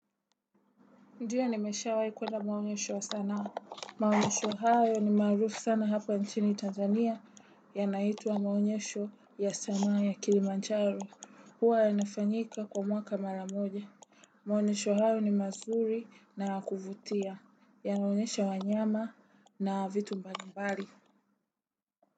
Ndio nimesha wai kwenda maonyesho ya sanaa. Maonyesho hayo ni maarufu sana hapa nchini Tanzania yanaitwa maonyesho ya sanaa ya Kilimanjaro huwa yanafanyika kwa mwaka mara moja. Maonyesho hayo ni mazuri na ya kuvutia yanaonyesha wanyama na vitu mbali mbali.